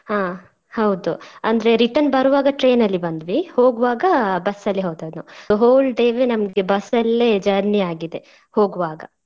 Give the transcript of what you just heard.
ಹಾ ಹೌದು ಅಂದ್ರೆ return ಬರುವಾಗ train ಅಲ್ಲಿ ಬಂದ್ವಿ ಹೋಗುವಾಗ ಬಸ್ಸ ಅಲ್ಲಿ ಹೋದದ್ದು whole day ನಮ್ಗೆ ಬಸ್ಸ ಅಲ್ಲೇ journey ಆಗಿದೆ ಹೋಗುವಾಗ.